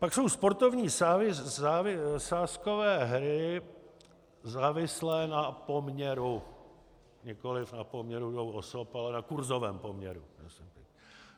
Pak jsou sportovní sázkové hry závislé na poměru, nikoli na poměru dvou osob, ale na kurzovém poměru.